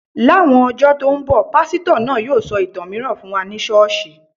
Láwọn ọjọ tó ń bọ̀, pásítọ̀ náà yóò sọ ìtàn mìíràn fún wa ní ṣọ́ọ̀ṣì